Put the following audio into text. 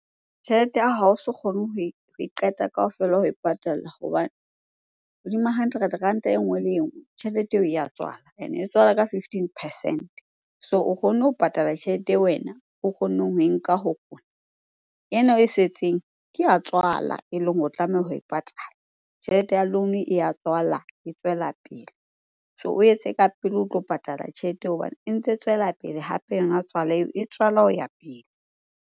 Tjhelete ya ha oso kgone ho e qeta kaofela ho e patalla hobane hodima hundred ranta e nngwe le engwe, tjhelete eo ya tswala ene e tswala ka fifteen percent-e. So o kgonne ho patala tjhelete e wena o kgonneng ho e nka ho rona. Ena e setseng ke ya tswala eleng hore o tlameha ho e patala. Tjhelete ya loan-o e ya tswala, e tswela pele. So o etse ka pele o tlo patala tjhelete eo hobane e ntse e tswela pele hape yona tswala eo, e tswala ho ya pele.